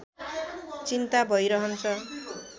चिन्ता भै रहन्छ